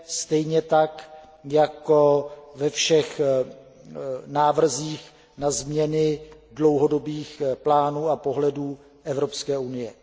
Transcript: stejně tak jako ve všech návrzích na změny dlouhodobých plánů a pohledů Evropské unie.